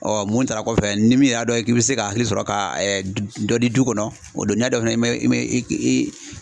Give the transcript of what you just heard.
mun taara kɔfɛ ni min y'a dɔn k'i bɛ se ka hakili sɔrɔ ka dɔ di du kɔnɔ o do n'i y'a dɔn fana